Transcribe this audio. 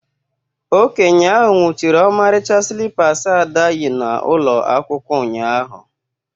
Okenye ahụ nwụchiri ọmarịcha slippers Ada yi n'ụlọ akwụkwọ ụnyahụ